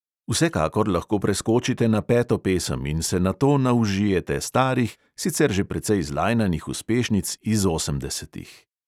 Vsekakor lahko preskočite na peto pesem in se nato naužijete starih, sicer že precej zlajnanih uspešnic iz osemdesetih.